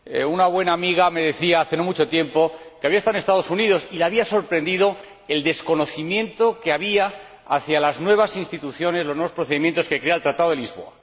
Una buena amiga me decía hace no mucho tiempo que había estado en Estados Unidos y le había sorprendido el desconocimiento que había acerca de las nuevas instituciones, los nuevos procedimientos, que crea el Tratado de Lisboa.